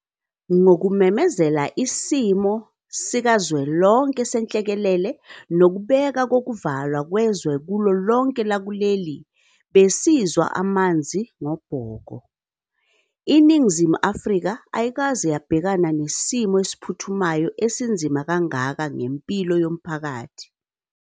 Ngokumemezela isimo sikazwelonke senhlekelele nokubeka kokuvalwa kwezwe kulo lonke lakuleli besizwa amanzi ngobhoko. INingizimu Afrika ayikaze yabhekana nesimo esiphuthumayo esinzima kangaka ngempilo yomphakathi.